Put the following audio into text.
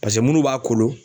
paseke munnu b'a kolon